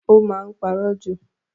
O máa n parọ ju.